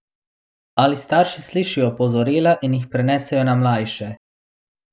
Ali starši slišijo opozorila in jih prenesejo na mlajše?